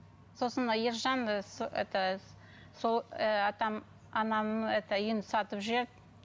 сосын ержан это сол ііі атам анамның это үйін сатып жіберді